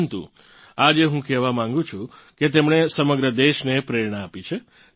પરંતુ આજે હું કહેવાં માંગુ છું કે તેમણે સમગ્ર દેશને પ્રેરણા આપી છે